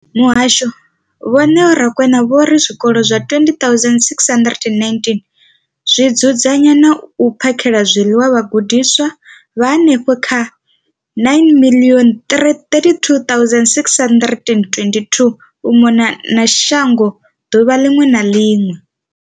Muhasho, Vho Neo Rakwena, vho ri zwikolo zwa 20 619 zwi dzudzanya na u phakhela zwiḽiwa vhagudiswa vha henefha kha 9 032 622 u mona na shango ḓuvha ḽiṅwe na ḽiṅwe.